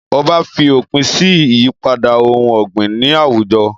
Ọba fi òpin sí ìyípadà ohùn ọ̀gbìn ní àwùjọ